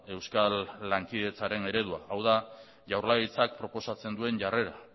euskal lankidetzaren eredua hau da jaurlaritzak proposatzen duen jarrera